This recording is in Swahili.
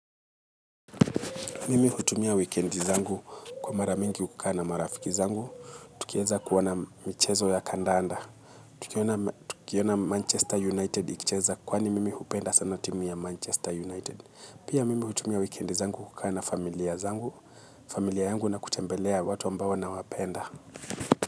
Mimi hutumia wikendi zangu kwa maramingi kukaa na marafiki zangu, tukieza kuona michezo ya kandanda, tukiona Manchester United ikicheza kwani mimi hupenda sana timu ya Manchester United, pia mimi hutumia wikendi zangu kukaaa na familia zangu, familia yangu na kutembelea watu ambao na wapenda.